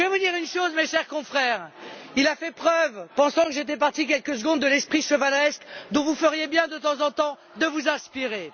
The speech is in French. Et je veux dire une chose, mes chers confrères il a fait preuve, pensant j'étais partie quelques secondes, de l'esprit chevaleresque dont vous feriez bien de temps en temps de vous inspirer.